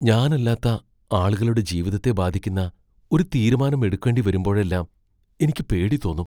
ഞാനല്ലാത്ത ആളുകളുടെ ജീവിതത്തെ ബാധിക്കുന്ന ഒരു തീരുമാനം എടുക്കേണ്ടിവരുമ്പോഴെല്ലാം എനിക്ക് പേടി തോന്നും.